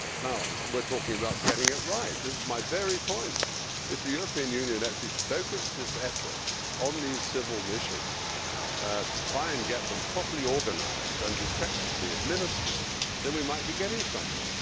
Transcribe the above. Now we are talking about getting it right. This is my very point. If the European Union actually focused its efforts on these civil missions, to try and get them properly organised and effectively administered, then we might be getting somewhere.